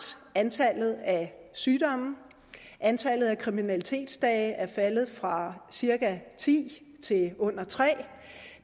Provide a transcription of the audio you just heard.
antallet af sygdomme antallet af kriminalitetsdage er faldet fra ti til under tre og